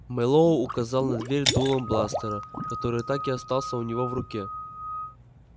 мэллоу указал на дверь дулом бластера который так и остался у него в руке